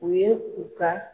U ye u ka